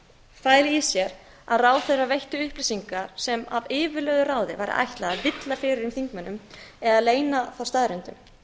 fæli í sér að ráðherra veitti upplýsingar sem af yfirlögðu ráði væri ætlað að villa fyrir þingmönnum eða leyna þá staðreyndum